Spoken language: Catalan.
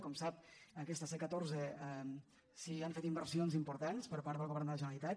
com sap a aquesta c catorze s’han fet inversions importants per part del govern de la generalitat